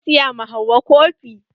Zan siya ma Hauwa kofi.